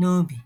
n’obi. ”